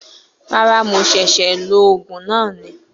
Rárá, Mo ṣẹ̀ṣẹ̀ lo Ògùn na ni